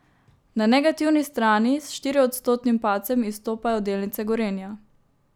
Na negativni strani s štiriodstotnim padcem izstopajo delnice Gorenja.